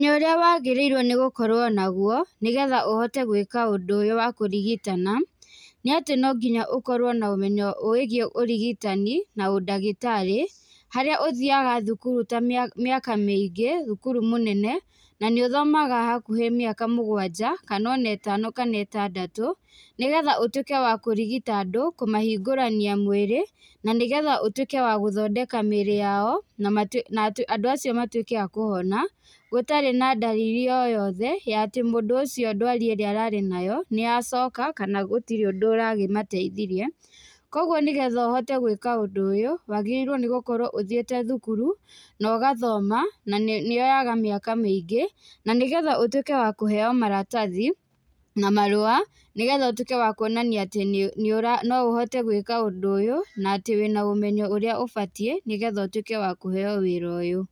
Ũmenyo ũrĩa wagĩrĩirwo nĩ gũkorwo nagwo nĩgetha ũhote gwĩka ũndũ ũyũ wa kũrigitana nĩ atĩ no nginya ũkorwo na ũmenyo wĩigiĩ ũrigitani na ũndagĩtarĩ harĩa ũthiaga thukuru ta mĩaka, mĩaka mĩingĩ thukuru mũnene na nĩ ũthomaga hakuhĩ mĩaka mũgwanja, kana ona ĩtano kana ĩtandatũ nĩgetha ũtuĩke wa kũrigita andũ, kũmahingũrania mwĩrĩ na nĩgetha ũtuĩke wa gũthondeka mĩĩrĩ yao na andũ acio matuĩke a kũhona gũtarĩ na ndariri oyote ya atĩ mũndũ ũcio ndwari ĩrĩa ararĩ nayo nĩyacoka kana gũtirĩ ũndũ ũrakĩmateithirie. Kwogwo nĩgetha ũhote gwĩka ũndũ ũyũ, wagĩrĩirwo nĩ gũkorwo ũthiĩte thukuru no gathoma, na nĩyoyaga mĩaka mĩingĩ na nĩgetha ũtuĩke wa kũheywo maratathi na marũa nĩgetha ũtuĩke wa kuonania atĩ nĩ, nĩũra, noũhote gwĩka ũndũ ũyũ, na atĩ wĩna ũmenyo ũrĩa ũbatiĩ nĩgetha ũtuĩke wa kũheywo wĩra ũyũ.